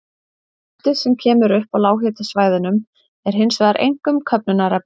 Í hveralofti, sem kemur upp á lághitasvæðunum, er hins vegar einkum köfnunarefni.